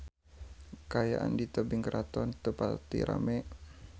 Kaayaan di Tebing Keraton teu pati rame